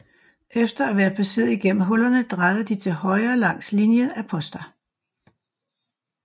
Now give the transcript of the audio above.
Efter at være passeret igennem hullerne drejede de til højre langs linjen af poster